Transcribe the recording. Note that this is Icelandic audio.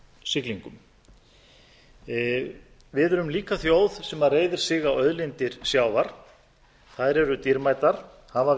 siglingum við erum líka þjóð sem reiðir sig á auðlindir sjávar þær eru dýrmætar hafa